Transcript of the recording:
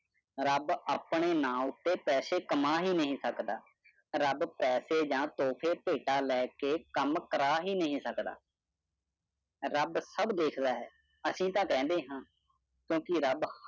ਰੱਬ ਆਪਣੇ ਨਾਂ ਉੱਤੇ ਪੈਸੇ ਕਮਾਂ ਹੀ ਨਹੀਂ ਸਕਦਾ। ਰੱਬ ਪੈਸੇ ਜਾਂ ਧੋਕੇ ਭੇਟਾ ਲੈ ਕੇ ਕੰਮ ਕਰਾ ਹੀ ਨਹੀਂ ਸਕਦਾ। ਰੱਬ ਸਭ ਦੇਖਦਾ ਹੈ ਅਸੀਂ ਤਾਂ ਕਹਿੰਦੇ ਹਾਂ ਕਿਉਂਕਿ ਰੱਬ